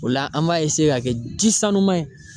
O la an b'a ka kɛ ji sanuman ye.